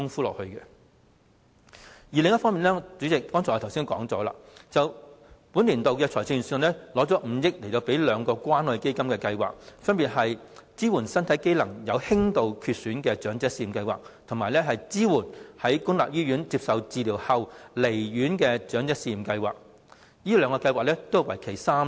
另一方面，主席，我剛才已經指出了，本年度預算案撥出5億元予兩項關愛基金的計劃，分別是"支援身體機能有輕度缺損的長者試驗計劃"及"支援在公立醫院接受治療後離院的長者試驗計劃"，此兩項計劃也是為期3年的。